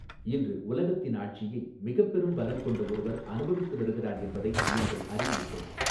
இன்று உலகத்தின் ஆட்சியை மிகப்பெரும் பலம் கொண்ட ஒருவர் அனுபவித்து வருகிறார் என்பதை நீங்கள் அறிவீர்கள்.